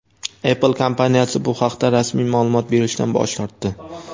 Apple kompaniyasi bu haqda rasmiy ma’lumot berishdan bosh tortdi.